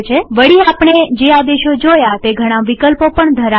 વળીઆપણે જે આદેશો જોયા તે ઘણા વિકલ્પો પણ ધરાવે છે